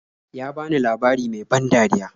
Ya bani labari mai ban dariya.